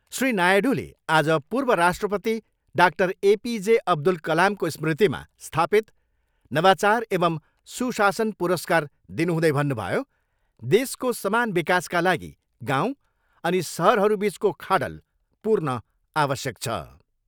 श्री नायडूले आज पूर्व राष्ट्रपति doctor A P J Abdul कलामको स्मृतिमा स्थापित नवाचार एंव सुशासन पुरस्कार दिनुहुँदै भन्नुभयो, देशको समान विकासका लागि गाउँ अनि सहरहरूबिचको खाडल पूर्ण आवश्यक छ।